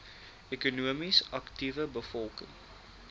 ekonomies aktiewe bevolking